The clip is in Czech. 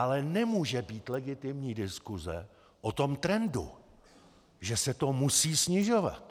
Ale nemůže být legitimní diskuse o tom trendu, že se to musí snižovat.